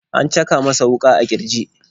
An caka masa wuka a kirji.